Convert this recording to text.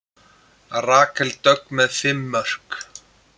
Rakel Dögg með fimm mörk